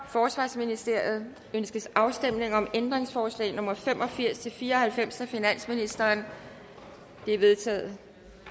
forsvarsministeriet ønskes afstemning om ændringsforslag nummer fem og firs til fire og halvfems af finansministeren de er vedtaget